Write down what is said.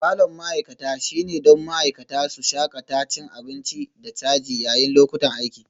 Falon ma'aikata shine don ma'aikata su shakata cin abinci da caji yayin lokutan aiki